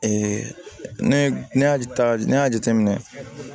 ne ne y'a ta ne y'a jate minɛ